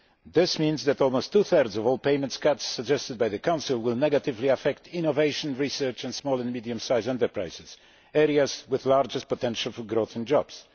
This means that almost two thirds of all payments cuts suggested by the Council will negatively affect innovation, research and small and medium sized enterprises, areas with the largest potential for growth and jobs.